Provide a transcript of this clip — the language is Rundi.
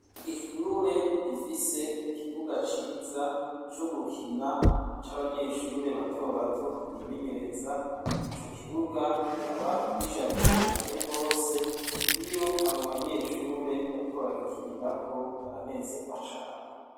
Ishure rifise ikibuga ciza co gukina c'abanyeshure batobato bimenyereza, ico kibuga kikaba gisharije cane gose iyo abo banyeshure bariko baragikinirako baranezegwa cane.